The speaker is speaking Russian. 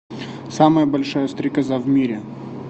самая большая стрекоза в мире